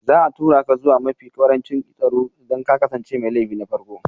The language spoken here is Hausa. Za a tura ka zuwa mafi ƙarancin tsaro idan ka kasance mai laifi na farko